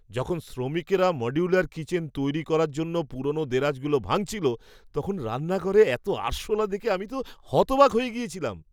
যখন শ্রমিকরা modular kitchen তৈরি করার জন্য পুরোনো দেরাজগুলো ভাঙছিল, তখন রান্নাঘরে এত আরশোলা দেখে আমি তো হতবাক হয়ে গিয়েছিলাম।